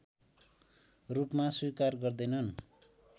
रूपमा स्वीकार गर्दैनन्